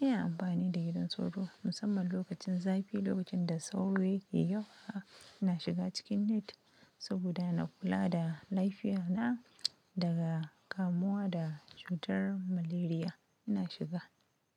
ina amfani da gidan sauro musamman lokacin zafi, lokacin da sauro yake yawa. Ina shiga cikin net saboda na kula da lafiya na daga kamuwa da cutar malaria. Ina shiga.